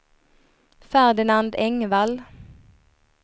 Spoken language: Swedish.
Ferdinand Engvall